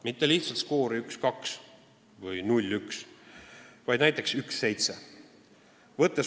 Mitte lihtsalt skoori 1 : 2 või 0 : 1, vaid näiteks 1 : 7.